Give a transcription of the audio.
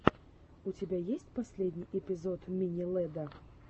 у тебя есть последний эпизод мини лэдда